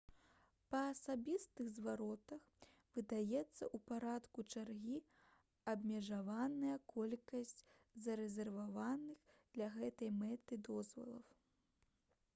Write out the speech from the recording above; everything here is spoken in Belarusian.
па асабістых зваротах выдаецца ў парадку чаргі абмежаваная колькасць зарэзерваваных для гэтай мэты дазволаў